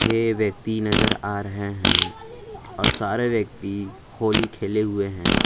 ये व्यक्ति नजर आ रहे हैं और सारे व्यक्ति होली खेले हुए हैं।